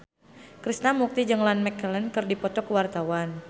Krishna Mukti jeung Ian McKellen keur dipoto ku wartawan